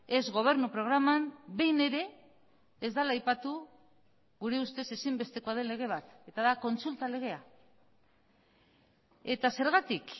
ez gobernu programan behin ere ez dela aipatu gure ustez ezinbestekoa den lege bat eta da kontsulta legea eta zergatik